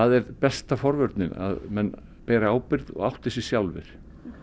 er besta forvörnin að menn beri ábyrgð og átti sig sjálfir